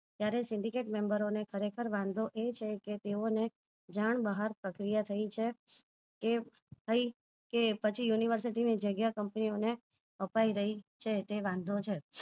જ્યારે syndicate member ઓ ખરેખર વાંધો એ છે કે તેઓ ને જાણ બહાર પ્રક્રિયા થઇ છે એ થઇ કે પછી university જગ્યા company ઓ ને અપાઈ રહી છે તે વાંધો છે